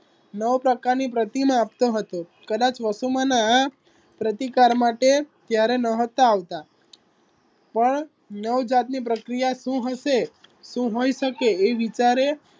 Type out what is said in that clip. નવ પ્રકારની પ્રતિમા આપતો હતો કદાચ વસુમાના આ પ્રતિકાર માટે ક્યારેય નહતા આવતા પણ નવ જાતની પ્રક્રિયા શુ હશે શુ હોઈ શકે એ વિચારે